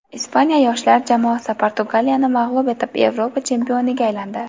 Ispaniya yoshlar jamoasi Portugaliyani mag‘lub etib, Yevropa chempioniga aylandi.